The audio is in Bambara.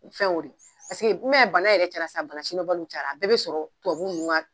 Fɛn y'o de ye i m'a ye bana yɛrɛ cayara sisan banabana sidɔnbaliw cayara a bɛɛ bɛ sɔrɔ tubabu ninnu ka